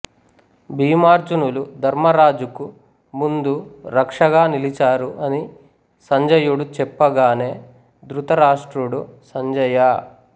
భీమార్జునులు ధర్మరాజుకు ముందు రక్షగా నిలిచారు అని సంజయుడు చెప్పగానే ధృతరాష్ట్రుడు సంజయా